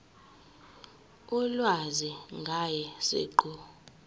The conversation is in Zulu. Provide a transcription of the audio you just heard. ulwazi ngaye siqu